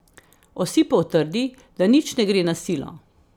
Osipov trdi, da nič ne gre na silo.